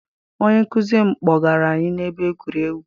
Onye nkụzi m kpọgara anyị na ebe egwuregwu.